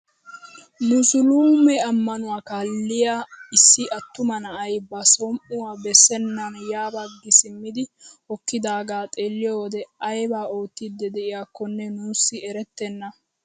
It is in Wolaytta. Musuluume ammanuwaa kaalliyaa issi attuma na'ay ba som"uwaa bessenan ya baggi simmidi hokkidaagaa xeelliyoo wode ayba oottiidi de'iyaakonne nuusi erettena!